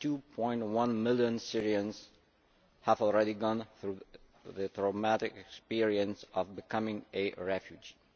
2.1 million Syrians have already gone through the traumatic experience of becoming a refugee.